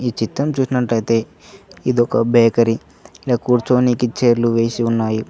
ఈ చిత్రం చూసినట్టయితే ఇది ఒక బేకరీ ఇడ కూర్చొని చైర్లు వేసి ఉన్నాయి.